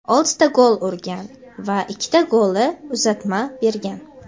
oltita gol urgan va ikkita golli uzatma bergan.